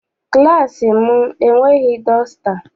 Klassị m enweghị dọsta.